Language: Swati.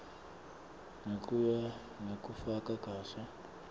ngekuya ngekufaka kahle